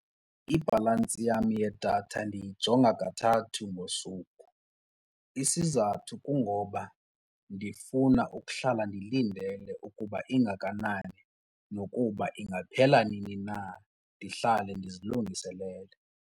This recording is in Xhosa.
Ibhalantsi yam yedatha ndiyijonga kathathu ngosuku. Isizathu kungoba ndifuna ukuhlala ndilindele ukuba ingakanani nokuba ingaphela nini na ndihlale ndizilungiselele.